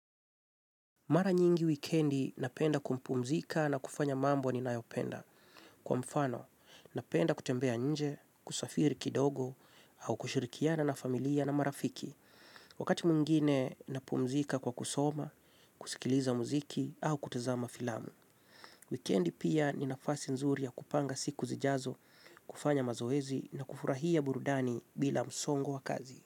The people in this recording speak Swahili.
Mara nyingi wikendi napenda kumpumzika na kufanya mambo ninayopenda. Kwa mfano, napenda kutembea nje, kusafiri kidogo, au kushurikiana na familia na marafiki. Wakati mwingine, napumzika kwa kusoma, kusikiliza muziki, au kutazama filamu. Wikendi pia ni nafasi nzuri ya kupanga siku zijazo, kufanya mazoezi na kufurahia burudani bila msongo wa kazi.